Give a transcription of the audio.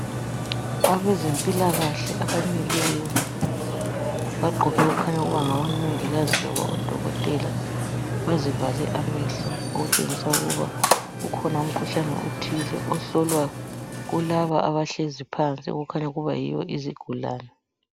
Abezempilakahle abamileyo, bagqoke okukhanya ukuba ngomongikazi kumbe odokotela. Bazivale amehlo okutshengisa ukuba ukhona umkhuhlane othile ohlolwa kulaba abahlezi phansi okukhanya ukuba yibo izigulane.